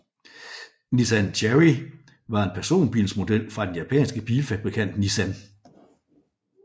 Nissan Cherry var en personbilsmodel fra den japanske bilfabrikant Nissan